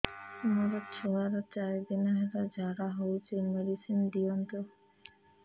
ମୋର ଛୁଆର ଚାରି ଦିନ ହେଲା ଝାଡା ହଉଚି ମେଡିସିନ ଦିଅନ୍ତୁ